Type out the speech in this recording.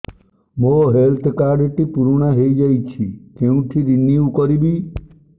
ମୋ health card ଟି ପୁରୁଣା ହେଇଯାଇଛି କେଉଁଠି ରିନିଉ କରିବି